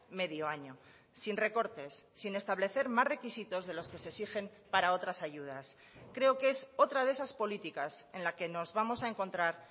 medio año sin recortes sin establecer más requisitos de los que se exigen para otras ayudas creo que es otra de esas políticas en la que nos vamos a encontrar